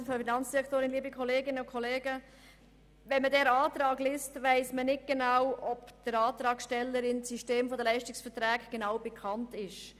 Wenn man diese Planungserklärung Antrag liest, weiss man nicht, ob der Antragstellerin das System der Leistungsverträge genau bekannt ist.